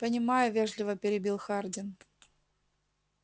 понимаю вежливо перебил хардин